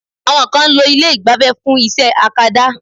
Àwọn kan ń lo ilé ìgbafẹ́ fún iṣẹ́ akada.